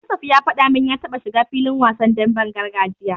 Yusuf ya faɗa min ya taba shiga filin wasan demben gargajiya.